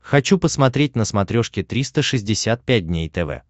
хочу посмотреть на смотрешке триста шестьдесят пять дней тв